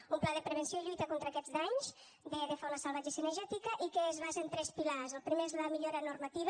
un pla de prevenció i lluita contra aquests danys de fauna salvatge i cinegètica i que es basa en tres pilars el primer és la millora normativa